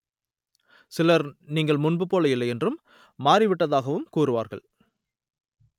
சிலர் நீங்கள் முன்பு போல் இல்லையென்றும் மாறி விட்டதாகவும் கூறுவார்கள்